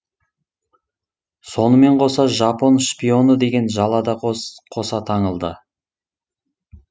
сонымен қоса жапон шпионы деген жала да қоса таңылды